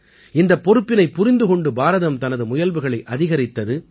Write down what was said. இந்தப் பொறுப்பினைப் புரிந்து கொண்டு பாரதம் தனது முயல்வுகளை அதிகரித்தது